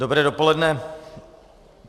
Dobré dopoledne.